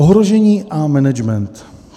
"Ohrožení a management.